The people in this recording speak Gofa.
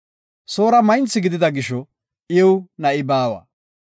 Soora maynthi gidida gisho iw na7i baawa.